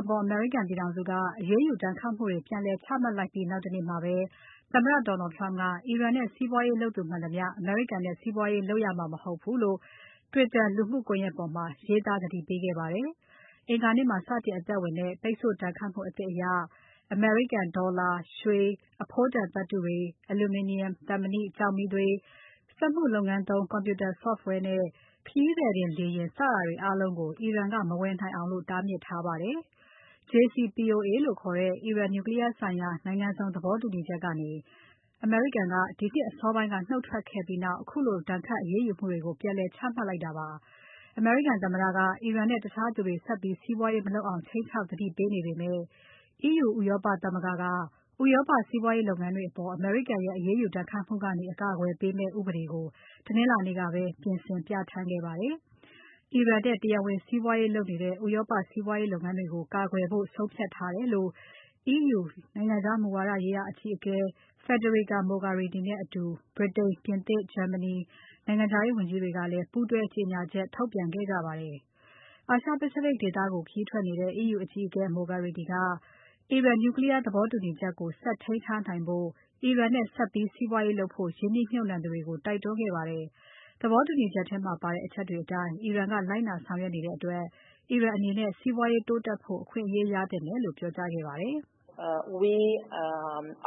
အပေါ် အမေရိကန် ပြည်ထောင်စုက အရေးယူဒဏ်ခတ်မှုတွေ ပြန်လည်ချမှတ်လိုက်ပြီး နောက်တနေ့မှာပဲ သမ္မတ Donald Trump က အီရန်နဲ့ စီးပွားရေးလုပ်သူမှန်သမျှ အမေရိကန်နဲ့ စီးပွားရေးလုပ်ရမှာ မဟုတ်ဘူးလို့ Twitter လူမှုကွန်ယက်ပေါ်မှာ ရေးသားသတိပေးခဲ့ပါတယ်။ အင်္ဂါနေ့မှာ စတင်အသက်ဝင်တဲ့ ပိတ်ဆို့ဒဏ်ခတ်မှုအသစ်အရ အမေရိကန်ဒေါ်လာ၊ ရွှေ၊ အဖိုးတန်သတ္တု၊ အလူမီနီယံ၊ သံမဏိ၊ ကျောက်မီးသွေး၊ စက်မှုလုပ်ငန်းသုံး Computer Software နဲ့ ခရီးသည်တင်လေယာဉ် စတာတွေအားလုံးကို အီရန်က မဝယ်နိုင်အောင်တားမြစ်ထားပါတယ်။ JCPOA လို့ခေါ်တဲ့ အီရန် Nuclear ဆိုင်ရာနိုင်ငံစုံသဘောတူညီချက်ကနေ အမေရိကန်က ဒီနှစ်အစောပိုင်းက နှုတ်ထွက်ခဲ့ပြီးနောက် ခုလိုဒဏ်ခတ်အရေးယူမှုတွေကို ပြန်လည်ချမှတ်လိုက်တာပါ။ အမေရိကန်သမ္မတက အီရန်နဲ့ တခြားသူတွေ ဆက်ပြီးစီးပွားရေးမလုပ်အောင် ခြိမ်းခြောက်သတိပေးနေပေမဲ့ EU ဥရောပသမဂ္ဂက ဥရောပ စီးပွားရေးလုပ်ငန်းတွေအပေါ် အမေရိကန်ရဲ့ အရေးယူဒဏ်ခတ်မှုကနေ အကာအကွယ်ပေးမယ့် ဥပဒေကို တနင်္လာနေ့ကပဲ ပြင်ဆင်ပြဌာန်းခဲ့ပါတယ်။ အီရန်နဲ့ တရားဝင်စီးပွားဗရးလုပ်နေတဲ့ ဥရောပစီးပွားရေးလုပ်ငန်းတွေကို ကာကွယ်ဖို့ဆုံးဖြတ်ထားတယ်လို့ EU နိုင်ငံခြား မူဝါဒရေးရာအကြီးအကဲ Federica Mogherini နဲ့အတူ ဗြိတိန်၊ ပြင်သစ်၊ ဂျာမနီနိုင်ငံခြာရေးဝန်ကြီးတွေကလည်း ပူးတွဲကြေညာချက်ထုတ်ပြန်ခဲ့ကြပါတယ်။ အာရှ Pacific ဒေသကို ခရီးထွက်နေတဲ့ EU အကြီးအကဲ Mogherini က အီရန် Nuclear သဘောတူညီမှုကို ဆက်ထိန်းထားနိုင်ဖို့ အီရန်နဲ့ဆက်ပြီး စီးပွားရေးလုပ်ဖို့ ရင်းနှီးမြှုပ်နှံသူတွေကို တိုက်တွန်းခဲ့ပါတယ်။ သဘောတူညီချက်ထဲမှာပါတဲ့ အချက်တွေအတိုင်း အီရန်က လိုက်နာဆောင်ရွက်နေတဲ့အတွက် အီရန်အနေနဲ့ စီးပွားရေးတိုးတက်ဖို့ အခွင့်အရေးရသင့်တယ်လို့ ပြောကြားခဲ့ပါတယ်။ "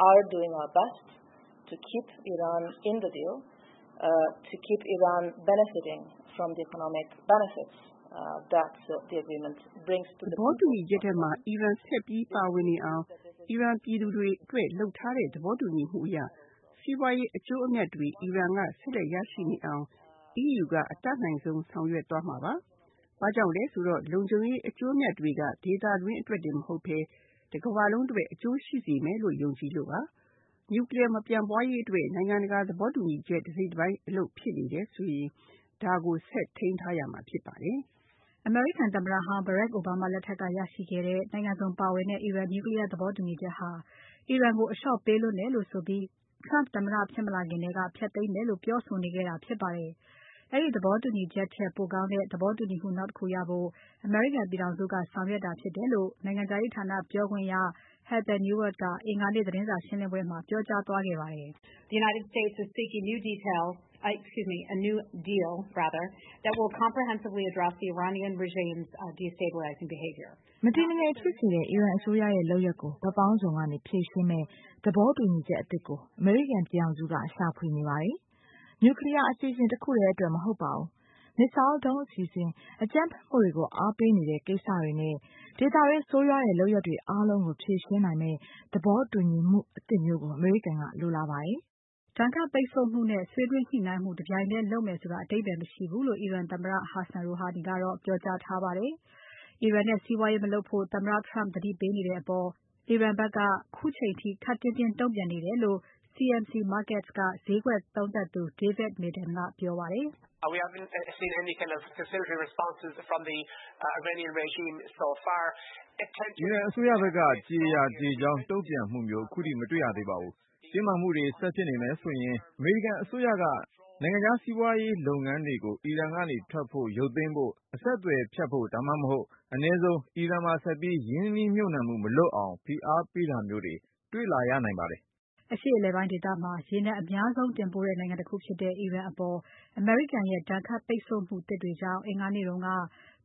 သဘောတူညီချက်ထဲမှာ အီရန်ဆက်ပြီးပါဝင်နေအောင်နဲ့ အီရန်ပြည်သူတွေအတွက်လုပ်ထားတဲ့ သဘောတူညီမှုအရ စီးပွားရေးအကျိုးအမြတ်တွေ အီရန်ကဆက်လက်ရရှိနေအောင် EU ကအတတ်နိုင်ဆုံးဆောင်ရွက်သွားမှာပါ။ ဘာကြောင့်လဲဆိုတော့ လုံခြုံရေးအကျိုးအမြတ်တွေက ဒေသတွင်းအတွက်တင် မဟုတ်ဘဲ တကမ္ဘာလုံးအတွက် အကျိုးရှိစေမယ်လို့ ယုံကြည်လို့ပါ။ Nuclear မပြန့်ပွားရေးအတွက် နိုင်ငံတကာသဘောတူညီချက် တစိတ်တပိုင်းအလုပ်ဖြစ်နေတယ်ဆိုရင် ဒါကို ဆက်ထိန်းထားရမှာဖြစ်ပါတယ်။" အမေရိကန်သမ္မတဟောင်း Barack Obama လက်ထက်က ရရှိခဲ့တဲ့ နိုင်ငံစုံပါဝင်တဲ့ အီရန် Nuclear သဘောတူညီချက်ဟာ အီရန်ကို အလျှော့ပေးလွန်းတယ်လို့ဆိုပြီး Trump သမ္မတ ဖြစ်မလာခင်ထဲက ဖျက်သိမ်းမယ်လို့ ပြောဆိုနေခဲ့တာဖြစ်ပါတယ်။ အဲဒီသဘောတူညီချက်ထက် ပိုကောင်းတဲ့ သဘောတူညီမှု နောက်တခုရဖို့ အမေရိကန်ပြည်ထောင်စုက ဆောင်ရွက်တာဖြစ်တယ်လို့ နိုင်ငံခြားရေးဌာန ပြောခွင့်ရ Heather Nauert က အင်္ဂါနေ့ သတင်းစာရှင်းပွဲမှာ ပြောကြားသွားခဲ့ပါတယ်။ "မတည်မငြိမ်ဖြစ်စေတဲ့ အီရန်အစိုးရရဲ့လုပ်ရပ်ကို ဘက်ပေါင်းစုံကနေ ဖြေရှင်းမယ့် သဘောတူညီချက်အသစ်ကို အမေရိကန်ပြည်ထောင်စုက ရှာဖွေနေပါတယ်။ Nuclear အစီအစဉ်တခုတည်းအတွက် မဟုတ်ပါဘူး။ Missile ဒုံးအစီအစဉ်၊ အကြမ်းဖက်မှုတွေကို အားပေးနေတဲ့ ကိစ္စတွေနဲ့ ဒေသတွင်း ဆိုးဝါးတဲ့လုပ်ရပ်တွေအားလုံးကို ဖြေရှင်းနိုင်မယ့် သဘောတူညီမှုသစ်မျိုးကို အမေရိကန်က လိုလားပါတယ်။" ပိတ်ဆို့ဒဏ်ခတ်မှုနဲ့ ဆွေးနွေးညှိုနှိုင်းမှု တပြိုင်တည်းလုပ်မယ်ဆိုတာ အဓိပ္ပါယ်မရှိဘူးလို့ အီရန်သမ္မတ Hassan Rouhani ကတော့ပြောကြားထားပါတယ်။ အီရန်နဲ့စီးပွားရေးမလုပ်ဖို့ သမ္မတ Trump သတိပေးနေတဲ့အပေါ် အီရန်ဖက်က ခုချိန်ထိ ခပ်တင်းတင်းတုံ့ပြန်နေတယ်လို့ CMC Markets က ဈေးကွက်သုံးသပ်သူ David Madden ကပြောပါတယ်။ "အီရန်အစိုးရဖက်က ကျေရာ ကျေကြောင်းတုံ့ပြန်မှုမျိုး ခုထိမတေ့ွရသေးပါဘူး။ တင်းမာမှုတွေ ဆက်ဖြစ်နေမယ်ဆိုရင် အမေရိကန်အစိုးရက နိုင်ငံခြားစီးပွားရေးလုပ်ငန်းတွေကို အီရန်ကနေ ထွက်ဖို့၊ ရုတ်သိမ်းဖို့ အဆက်အသွယ်ဖြတ်ဖို့ ဒါမှမဟုတ် အနည်းဆုံး အီရန်မှာဆက်ပြီး ရင်းနှီးမြှုပ်နှံမှု မလုပ်အောင် ဖိအားပေးတာမျိုးတွေ တွေ့လာရနိုင်ပါတယ်။" အရှေ့အလယ်ပိုင်းဒေသမှာ ရေနံအများဆုံးတင်ပို့တဲ့ နိုင်ငံတခုဖြစ်တဲ့ အီရန်အပေါ် အမေရိကန်ရဲ့ ဒဏ်ခတ်ပိတ်ဆို့မှုသစ်တွေကြောင့် အင်္ဂါနေ့က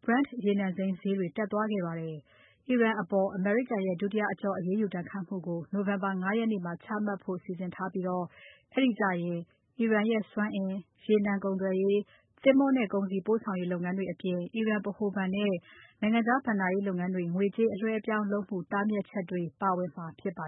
Brent ရေနံစိမ်းဈေးတွေ တက်သွားခဲ့ပါတယ်။ အီရန်အပေါ် အမေရိကန်ရဲ့ ဒုတိယအကျော့ အရေးယူဒဏ်ခတ်မှုတွေကို November ၅ ရက်နေ့မှာ ချမှတ်ဖို့ စီစဉ်ထားပြီး အဲဒီကျရင် အီရန်ရဲ့ စွမ်းအင်၊ ရေနံကုန်သွယ်ရေး၊ သင်္ဘောနဲ့ကုန်စည်ပို့ဆောင်ရေးလုပ်ငန်းတွေအပြင် အီရန်ဗဟိုဘဏ်နဲ့ နိုင်ငံခြားဘဏ္ဍာရေးလုပ်ငန်းတွေ ငွေကြေးအလွှဲအပြောင်းလုပ်မှု တားမြစ်ချက်တွေ ပါဝင်မှာဖြစ်ပါ